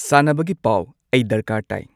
ꯁꯥꯟꯅꯕꯒꯤ ꯄꯥꯎ ꯑꯩ ꯗꯔꯀꯥꯔ ꯇꯥꯏ